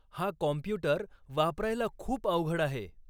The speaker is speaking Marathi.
हा कॉम्पुटर वापरायला खूप अवघड आहे.